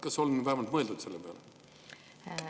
Kas on vähemalt mõeldud selle peale?